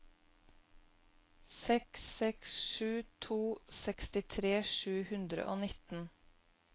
seks seks sju to sekstitre sju hundre og nitten